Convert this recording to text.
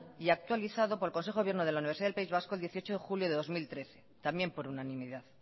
y actualizado por el consejo de gobierno de la universidad del país vasco el dieciocho de julio de dos mil trece también por unanimidad